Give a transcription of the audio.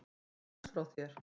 Má ég fá knús frá þér?